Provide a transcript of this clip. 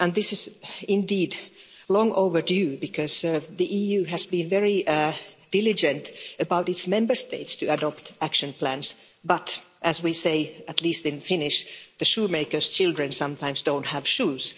This is indeed long overdue because the EU has been very diligent about its Member States adopting action plans, but as we say, at least in Finnish, the shoemaker's children sometimes don't have shoes.